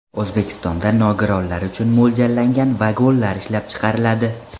O‘zbekistonda nogironlar uchun mo‘ljallangan vagonlar ishlab chiqariladi.